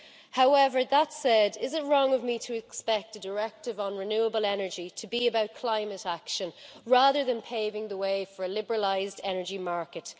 However, that said, is it wrong of me to expect a directive on renewable energy to be about climate action, rather than paving the way for a liberalised energy market?